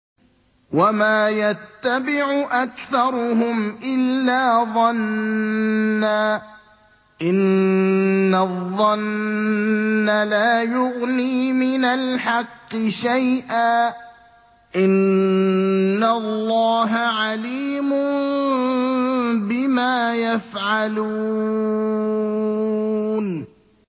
وَمَا يَتَّبِعُ أَكْثَرُهُمْ إِلَّا ظَنًّا ۚ إِنَّ الظَّنَّ لَا يُغْنِي مِنَ الْحَقِّ شَيْئًا ۚ إِنَّ اللَّهَ عَلِيمٌ بِمَا يَفْعَلُونَ